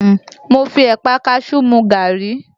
Mo fi Ẹ̀pà a kaṣú mu gaàrí